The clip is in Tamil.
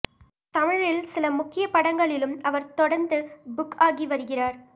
தமிழில் சில முக்கிய படங்களிலும் அவர் தொடந்து புக் ஆகி வருகிறார்